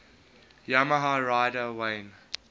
yamaha rider wayne